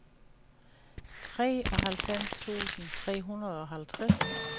treoghalvfems tusind tre hundrede og halvtreds